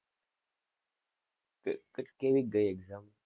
ક ક કેવીક ગયી exam?